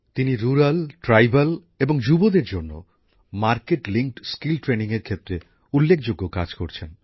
তিনি গ্রামাঞ্চলে আদিবাসী এবং যুবসম্প্রদায়ের জন্য বাজারের চাহিদা অনুযায়ী দক্ষতার প্রশিক্ষণের ক্ষেত্রে উল্লেখযোগ্য কাজ করছেন